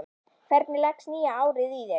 Hvernig leggst nýja árið í þig?